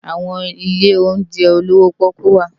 Awòn ilé óunjè ólowò pòkú wá